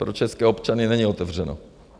Pro české občany není otevřeno.